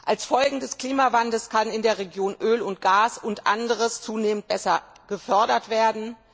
Als Folge des Klimawandels kann in der Region Öl und Gas und anderes zunehmend besser gefördert werden.